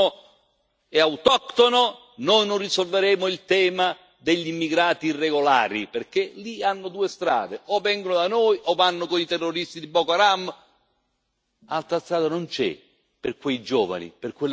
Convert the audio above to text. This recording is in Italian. e autoctono, noi non risolveremo il tema degli immigrati irregolari, perché lì hanno due strade o vengono da noi o vanno con i terroristi di Boko Haram, altra strada non c'è per quei giovani, per quelle ragazze.